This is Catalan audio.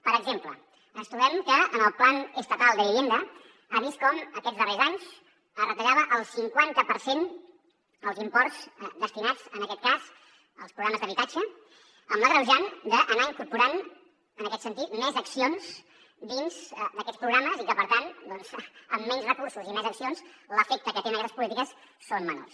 per exemple ens trobem que el plan estatal de vivienda ha vist com aquests darrers anys es retallava el cinquanta per cent als imports destinats en aquest cas als programes d’habitatge amb l’agreujant d’anar incorporant en aquest sentit més accions dins d’aquests programes i que per tant amb menys recursos i més accions l’efecte que tenen aquestes polítiques són menors